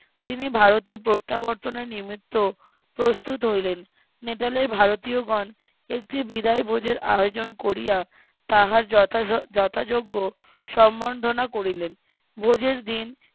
তিনি ভারতে প্রত্যাবর্তনে নিমিত্ত প্রস্তুত হইলেন নেটালের ভারতিয়গন একটি বিদায় ভোজের আয়োজন করিয়া তাহার যথা যথাযোগ্য সম্বর্ধনা করিলেন ভোজের দিন